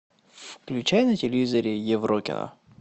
включай на телевизоре еврокино